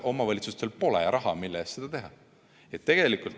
Omavalitsustel pole raha, mille eest seda teha.